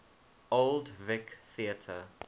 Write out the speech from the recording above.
old vic theatre